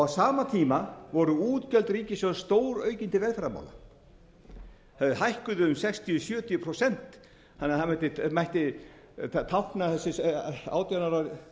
sama tíma voru útgjöld ríkissjóðs stóraukin til velferðarmála þau hækkuðu um sextíu til sjötíu prósent þannig að